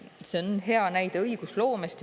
See on hea näide õigusloomest.